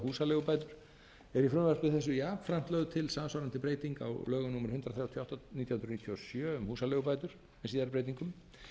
húsaleigubætur er í frumvarpi þessu jafnframt lögð til samsvarandi breyting á lögum númer hundrað þrjátíu og átta nítján hundruð níutíu og sjö um húsaleigubætur með síðari breytingum